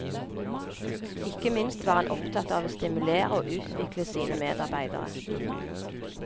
Ikke minst var han opptatt av å stimulere og utvikle sine medarbeidere.